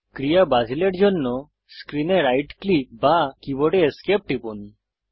ক্রিয়া বাতিলের জন্য স্ক্রিনে রাইট ক্লিক বা কীবোর্ডে Esc টিপুন